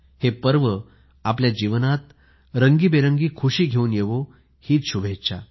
हे पर्व आपल्या जीवनात आनंदाची मुक्त उधळण करणारे ठरो ही शुभेच्छा